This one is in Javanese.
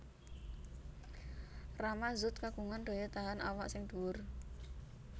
Rama Zoet kagungan daya tahan awak sing dhuwur